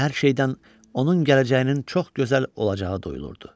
Hər şeydən onun gələcəyinin çox gözəl olacağı duyulurdu.